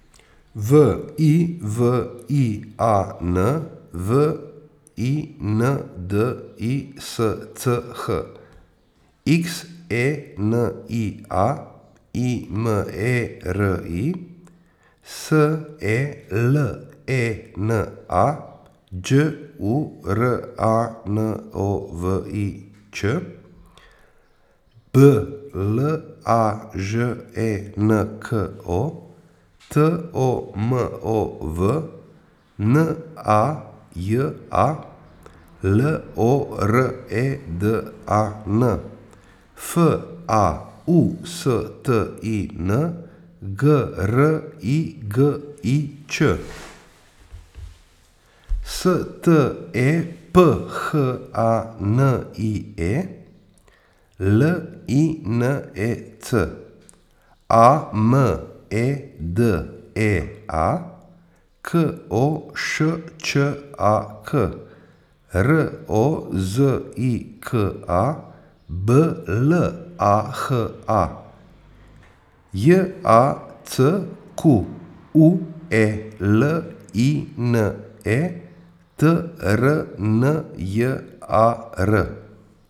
V I V I A N, V I N D I S C H; X E N I A, I M E R I; S E L E N A, Đ U R A N O V I Ć; B L A Ž E N K O, T O M O V; N A J A, L O R E D A N; F A U S T I N, G R I G I Ć; S T E P H A N I E, L I N E C; A M E D E A, K O Š Č A K; R O Z I K A, B L A H A; J A C Q U E L I N E, T R N J A R.